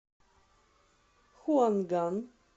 хуанган